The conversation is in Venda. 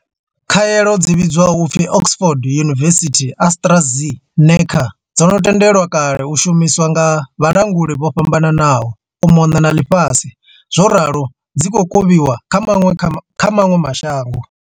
Khaelo dzi vhidzwaho u pfi Oxford University-AstraZeneca dzo no tendelwa kale u shumiswa nga vhalanguli vho fhambananaho u mona na ḽifhasi zworalo dzi khou kovhiwa kha maṅwe ma shango.